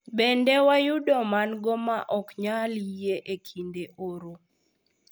Bende, wayudo mango ma ok nyal yie e kinde oro.